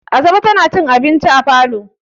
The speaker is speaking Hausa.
Asabe tana cin abinci a falo.